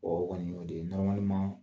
o kɔni o de